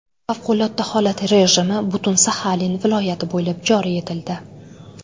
Favqulodda holat rejimi butun Saxalin viloyati bo‘ylab joriy etildi.